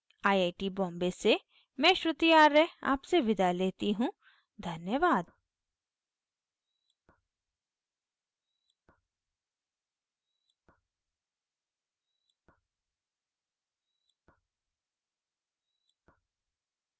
I I T Bombay से मैं श्रुति आर्य आपसे विदा लेती you धन्यवाद